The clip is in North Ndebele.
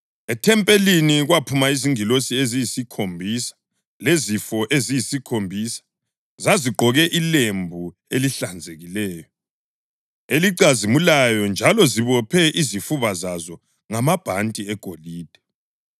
Ethempelini kwaphuma izingilosi eziyisikhombisa zilezifo eziyisikhombisa. Zazigqoke ilembu elihlanzekileyo, elicazimulayo njalo zibophe izifuba zazo ngamabhanti egolide.